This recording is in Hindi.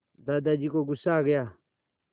दादाजी को गुस्सा आ गया